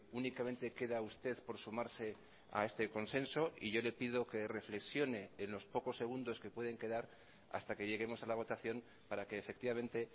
únicamente queda usted por sumarse a este consenso y yo le pido que reflexione en los pocos segundos que pueden quedar hasta que lleguemos a la votación para que efectivamente